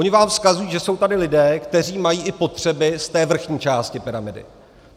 Oni vám vzkazují, že jsou tady lidé, kteří mají i potřeby z té vrchní části pyramidy.